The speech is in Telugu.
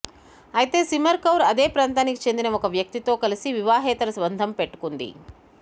అయితే సిమర్ కౌర్ అదే ప్రాంతానికి చెందిన ఒక వ్యక్తితో కలిసి వివాహేతర బంధం పెట్టుకుంది